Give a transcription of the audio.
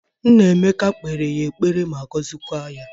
Nna Emeka kpere ya ekpere ma gozikwa ya